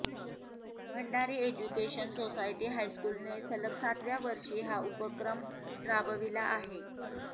Bhandari education society हायस्कूलने सलग सातव्या वर्षी हा उपक्रम राबविला आहे